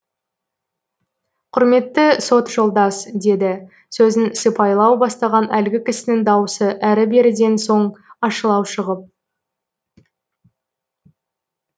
құрметті сот жолдас деді сөзін сыпайылау бастаған әлгі кісінің даусы әрі беріден соң ащылау шығып